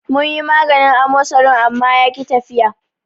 Munyi maganin amosarin amma yaki tafiya.